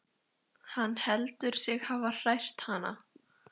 Hann heldur sig hafa hrært hana.